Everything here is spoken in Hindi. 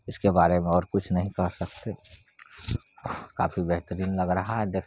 इसके बारे मे और कुछ नहीं कह सकते काफी बहेतरीन लग रहा है देख--